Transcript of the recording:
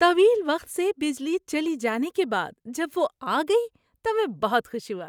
طویل وقت سے بجلی چلی جانے کے بعد جب وہ آ گئی تو میں بہت خوش ہوا۔